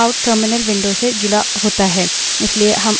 स्वतः से standardout out stdout terminal window से जुड़ा होता है